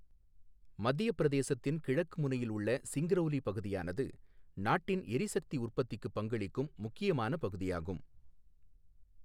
மத்தியப் பிரதேசத்தின் கிழக்கு முனையில் உள்ள சிங்க்ரௌலி பகுதியானது நாட்டின் எரிசக்தி உற்பத்திக்கு பங்களிக்கும் முக்கியமான பகுதியாகும்.